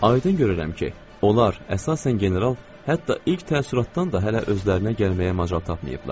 Aydın görürəm ki, onlar əsasən general, hətta ilk təəssüratdan da hələ özlərinə gəlməyə macal tapmayıblar.